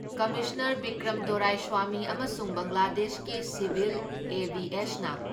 commissioner Vikram Doraiswami ꯑꯃꯁꯨꯡ ꯕꯪꯒ꯭ꯂꯥꯗꯦꯁꯀꯤ civil ꯑꯦꯚꯤꯑꯦꯁꯅ